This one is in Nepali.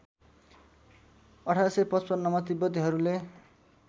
१८५५ मा तिब्बतीहरूले